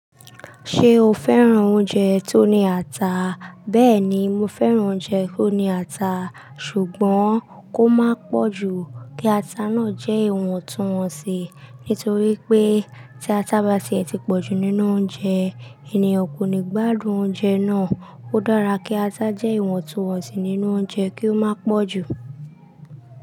Ṣé o féràn oúnjẹ tó ní ata? Bẹ́ẹ̀ ni, mo féràn oúnjẹ tó ní ata, ṣùgbọ́n kó má pọ̀ ju kí ata náà jẹ́ ìwọ̀ntúnwọ̀nsì. Nítorí pé tí ata bá tí ẹ ti pọ̀jù nínú oúnjẹ, ènìyàn kò ní gbádùn oúnjẹ náà. Ó dára kí ata jẹ́ ìwọ̀ntúnwọ̀nsì nínú oúnjẹ kí ó má pọ̀jù.